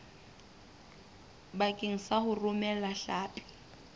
bakeng sa ho romela hlapi